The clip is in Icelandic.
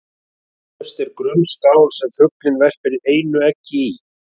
Efst er grunn skál sem fuglinn verpir einu eggi í.